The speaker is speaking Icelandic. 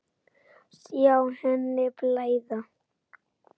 Sjá henni blæða.